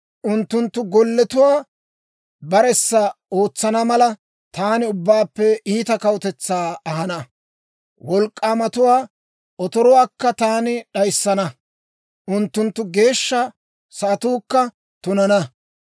Unttunttu golletuwaa baressa ootsana mala, taani ubbaappe iita kawutetsaa ahana. Wolk'k'aamatuwaa otoruwaakka taani d'ayissana; unttunttu geeshsha sa'atuukka tunana.